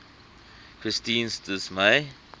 christine s dismay